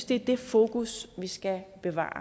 det er det fokus vi skal bevare